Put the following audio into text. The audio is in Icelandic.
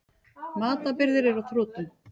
Matarbirgðir eru á þrotum.